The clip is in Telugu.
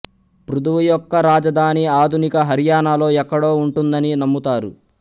పృథువు యొక్క రాజధాని ఆధునిక హర్యానాలో ఎక్కడో ఉంటుందని నమ్ముతారు